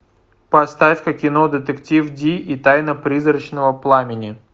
поставь ка кино детектив ди и тайна призрачного пламени